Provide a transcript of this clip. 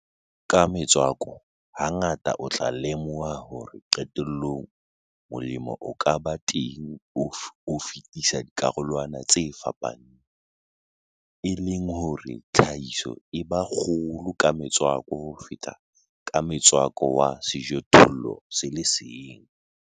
Ka metswako, hangata o tla lemoha hore qetellong molemo o ka bang teng o fetisa dikarolwana tse fapaneng, e leng hore tlhahiso e ba kgolo ka metswako ho feta ka motswako wa sejothollo se le seng.